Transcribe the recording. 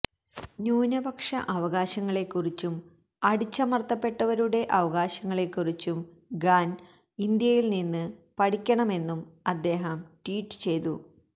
ന്യൂനപക്ഷ അവകാശങ്ങളെക്കുറിച്ചും അടിച്ചമര്ത്തപ്പെട്ടവരുടെ അവകാശങ്ങളെക്കുറിച്ചും ഖാൻ ഇന്ത്യയിൽ നിന്ന് പഠിക്കണമെന്നും അദ്ദേഹം ട്വീറ്റ് ചെയ്തു